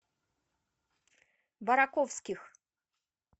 бараковских